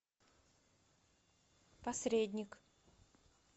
посредник